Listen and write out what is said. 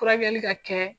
Furakɛli ka kɛ